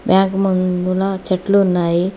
Bank మూందుల ముందుల చెట్లు ఉన్నాయి.